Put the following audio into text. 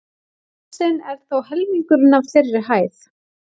Hálsinn er þó helmingurinn af þeirri hæð.